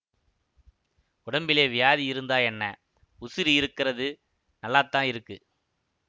உடம்பிலே வியாதி இருந்தா என்ன உசிரு இருக்கறது நல்லாத்தான் இருக்கு